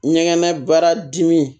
Ɲɛgɛn baara dimi